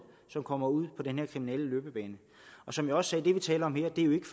som kommer ud på den her kriminelle løbebane som jeg også det vi taler om her jo ikke